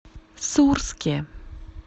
сурске